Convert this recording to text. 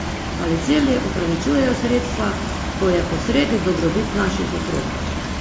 Ali cilji upravičujejo sredstva, ko je posredi dobrobit naših otrok?